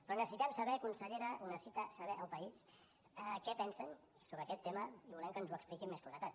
però necessitem saber consellera ho necessita saber el país què pensen sobre aquest tema i volem que ens ho expliqui amb més claredat